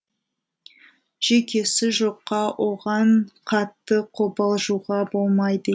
жүйкесі жұқа оған қатты қобалжуға болмайды